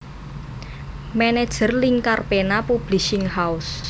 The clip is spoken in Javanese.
Manajer Lingkar Pena Publishing House